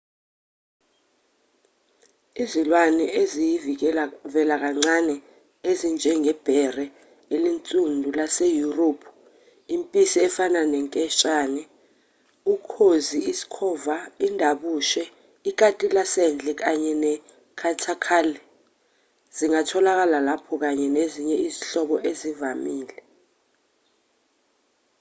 izilwane eziyivelakancane ezinjengebhere elinsundu laseyurophu impisi efana nenketshane ukhozi isikhova indabushe ikati lasendle kanye ne-capercaillie zingatholakala lapho kanye nezinye izinhlobo ezivamile